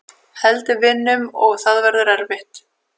Held við vinnum og það verður erfitt.